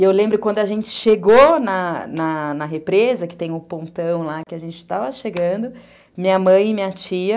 E eu lembro quando a gente chegou na na represa, que tem o pontão lá que a gente estava chegando, minha mãe e minha tia...